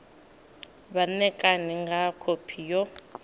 vha ṋekane nga khophi yo